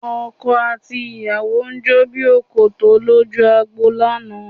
Ọkọ àti ìyàwó jó bí òkòtó lójú agbo lánàá